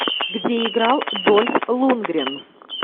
где играл дольф лунгрен